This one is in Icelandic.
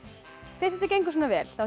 fyrst þetta gengur svona vel þá